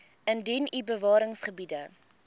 indien u bewaringsgebiede